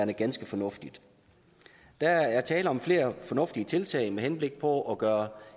ganske fornuftigt der er tale om flere fornuftige tiltag med henblik på at gøre